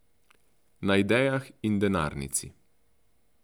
Na idejah in denarnici.